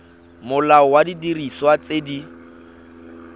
molao wa didiriswa tse di